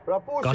Qaçırdıq.